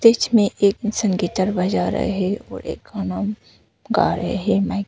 pitch में एक इंसान गिटार बजा रहा है और एक का गाना गा रहे है माइक --